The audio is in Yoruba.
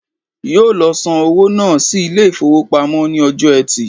Yóò lo san owó náà sí Ilé ìfowópamọ́ ní ọjọ́ ẹtì